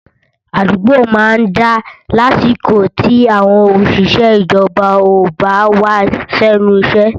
Àdúgbò má ń dá lásìkò tí àwọn òṣìṣẹ́ ìjọba ò bá wá sẹ́nu iṣẹ́